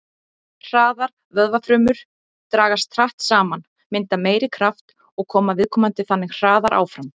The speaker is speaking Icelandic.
Hraðar vöðvafrumur dragast hratt saman, mynda meiri kraft og koma viðkomandi þannig hraðar áfram.